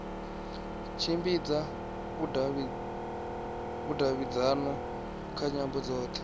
tshimbidza vhudavhidzano kha nyambo dzothe